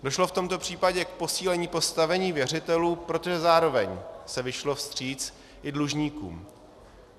Došlo v tomto případě k posílení postavení věřitelů, protože zároveň se vyšlo vstříc i dlužníkům.